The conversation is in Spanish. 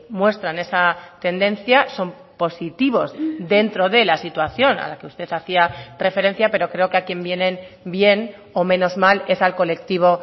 muestran esa tendencia son positivos dentro de la situación a la que usted hacía referencia pero creo que a quien vienen bien o menos mal es al colectivo